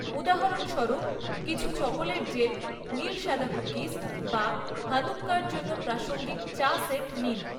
উদাহরণস্বরূপ, কিছু chocolate gel, নীল সাদা কুকিজ বা হানুক্কার জন্য প্রাসঙ্গিক চা সেট নিন।